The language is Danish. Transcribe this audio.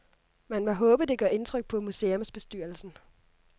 Man må håbe, det gør indtryk på museumsbestyrelsen.